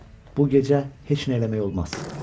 Bu gecə heç nə eləmək olmaz.